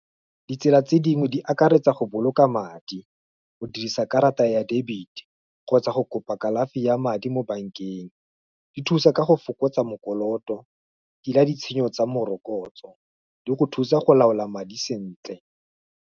Ditsela tse dingwe di akaretsa go boloka madi, go dirisa karata ya debit-e, kgotsa go kopa kalafi ya madi mo bankeng, di thusa ka go fokotsa mokoloto, tila ditshenyo tsa morokotso, di go thusa go laola madi sentle.